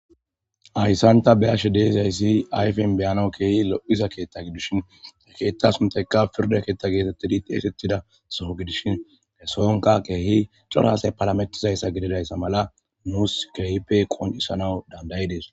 ayssanta beashe deezayssi ayfen beyano keehi lo7iza keetta gidushin he keetta suntayka pirda keetta geetettidi teesettida soho gidishin kesoonka keehi corhaasay palametizayssa gididayssa mala nuus kehipe qon7isanaw dandayidees